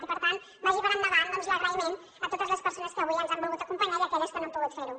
i per tant vagi per endavant doncs l’agraïment a totes les persones que avui ens han volgut acompanyar i a aquelles que no han pogut fer ho